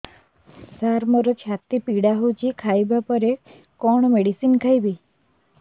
ସାର ମୋର ଛାତି ପୀଡା ହଉଚି ଖାଇବା ପରେ କଣ ମେଡିସିନ ଖାଇବି